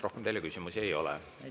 Rohkem teile küsimusi ei ole.